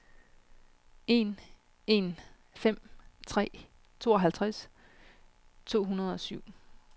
en en fem tre tooghalvtreds to hundrede og syv